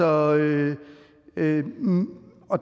og